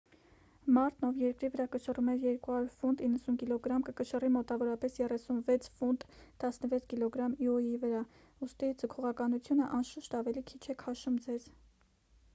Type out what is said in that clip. մարդն ով երկրի վրա կշռում է 200 ֆունտ 90 կգ կկշռի մոտավորապես 36 ֆունտ 16 կգ իոյի վրա։ ուստի՝ ձգողականությունը անշուշտ ավելի քիչ է քաշում ձեզ։